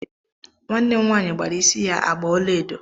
Nwannem nwanyị gbara isí ya agba ọlaedo.